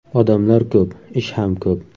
Odamlar ko‘p, ish ham ko‘p.